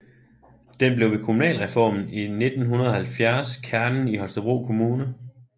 Den blev ved kommunalreformen i 1970 kernen i Holstebro Kommune